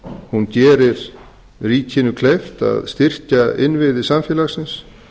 hún gerir ríkinu kleift að styrkja innviði samfélagsins